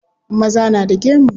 Maza na da gemu.